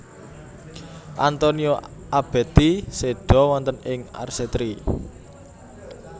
Antonio Abetti seda wonten ing Arcetri